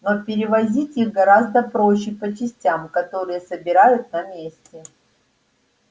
но перевозить их гораздо проще по частям которые собирают на месте